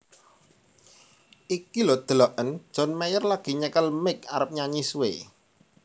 Iku lho deloken John Mayer lagi nyekel mic arep nyanyi suwe